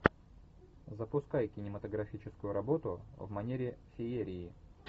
запускай кинематографическую работу в манере феерии